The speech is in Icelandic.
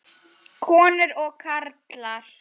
Konur og karlar.